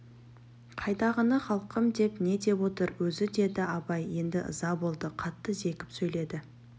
қайдағыны халқым деп не деп отыр өзі деді абай енді ыза болды қатты зекіп сөйледі